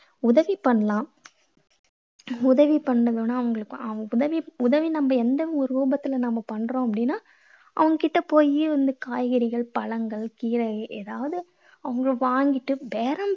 உதவி பண்ணலாம். உதவி பண்ணுங்கன்னா அவங்களுக்கு அவங்க~ உதவி உதவி நம்ம எந்த ரூபத்தில நம்ம பண்றோம் அப்படீன்னா அவங்க கிட்ட போயி வந்து காய்கறிகள், பழங்கள், கீரை ஏதாவது அவங்க வாங்கிட்டு பேரம்